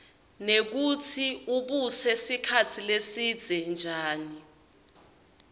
nekutsi ubuse sikhatsi lesidze njani